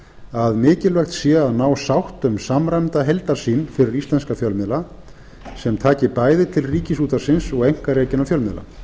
að mikilvægt sé að ná sátt um samræmda heildarsýn fyrir íslenska fjölmiðla sem taki bæði til ríkisútvarpsins og einkarekinna fjölmiðla